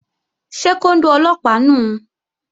Ṣé kóndó Ọlọ́pàá nùu?